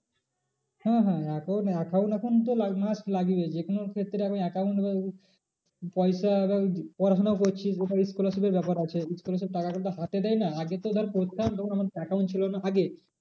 হ্যাঁ হ্যাঁ account, account এখন তো must লাগে যে কোনো ক্ষেত্রে এখন account পয়সা পড়াশোনা করছিস scholarship এর ব্যাপার আছে। scholarship এর টাকা কিন্তু হাতে দেয় না আগে তো ধর পড়তাম তখন account ছিল না আগে